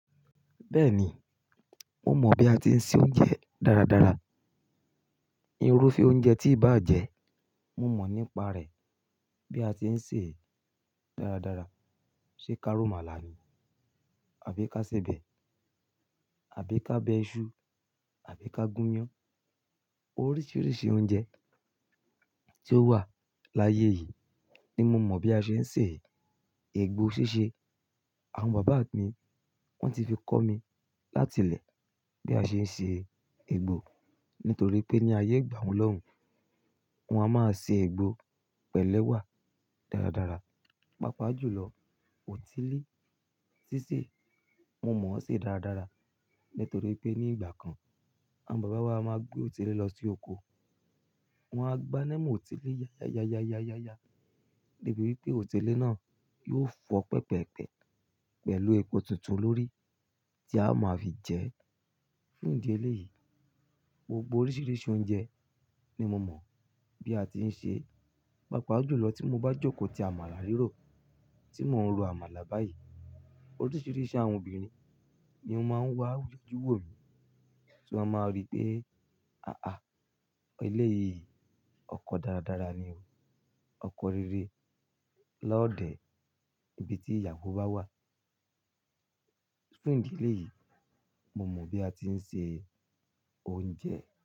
Bẹ́ẹ̀ni, mo mọ̀ bí a ti ń se oúnjẹ dáradára. Irúfẹ́ oúnjẹ tí ìbá jẹ, mo mọ̀ nípa rẹ̀ bí a ti ń sè é dáradára. Ṣé ká rọ̀ màlà ni? Àbí ká sebẹ̀? Àbí ká bẹ iṣu? Àbí ká gún iyán? Oríṣiríṣi oúnjẹ tí ó wà láyé yìí ni mo mọ̀ bí a ṣe ń sè. Ẹ̀ẹ̀gbò ṣíṣe, àwọn bàbá mi wọ́n ti fi kọ́ mi láti ilẹ̀ bí a ṣe ń ṣe ẹ̀gbò nítorí pé ní ayé ìgbà wun lọ́hun, wọn a máa ṣe ẹ̀gbò pẹ̀lú ewà dáradára. Pápá jùlọ, ọ̀tílí ṣíṣe mo mọ̀ ọ́ ṣe dáradára nítorí pé ní ìgbà kan, àwọn bàbá wa a máa gbé ọ̀tílí lọ sí oko. Wọn á gbáńa mọ ọ̀tílí ya, ya, ya, ya, ya, ya, ya debi wípé ọ̀tílí náà yóò fọ́ pẹ̀pẹ̀pẹ̀ pẹ̀lú epo tuntun lórí tí a máa fi jẹ. Fún ìdí eléyìí, gbogbo oríṣiríṣi oúnjẹ ni mo mọ̀ bí a ti ń ṣe. Pápá àjùlọ tí mo bá jókòó ti àmàlà rírọ̀, tí mò ń ro àmàlà báyìí, oríṣiríṣi àwọn obìnrin ni ó máa ń wá wí wò mí. Ṣé wọn máa rí pé, "àáá, ilé yìí ọkọ dáradára ni o. Ọkọ rere lọ́ọ̀dẹ̀." Ibi tí ìyàwó bá wà. Fún ìdí eléyìí, mo mọ̀ bí a ti ń ṣe oúnjẹ.